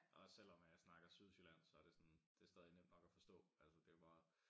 Og også selvom jeg snakker sydsjællandsk så det sådan det stadig nemt nok at forstå altså det jo bare